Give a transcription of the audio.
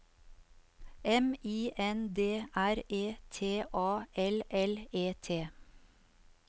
M I N D R E T A L L E T